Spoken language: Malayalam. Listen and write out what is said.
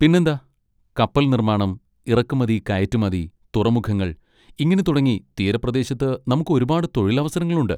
പിന്നെന്താ! കപ്പൽ നിർമ്മാണം, ഇറക്കുമതി കയറ്റുമതി, തുറമുഖങ്ങൾ, ഇങ്ങനെ തുടങ്ങി തീരപ്രദേശത്ത് നമുക്ക് ഒരുപാട് തൊഴിൽ അവസരങ്ങൾ ഉണ്ട്.